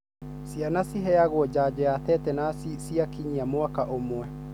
Ciana ciheagwo janjo ya tetenus ciakinyia mwaka ũmwe.